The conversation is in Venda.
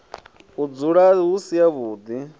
u dzula hu si havhuḓi